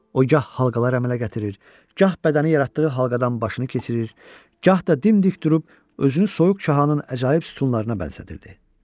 O gah halqalar əmələ gətirir, gah bədəni yaratdığı halqadan başını keçirir, gah da dimdik durub özünü soyuq Cahanın əcaib sütunlarına bənzədirdi.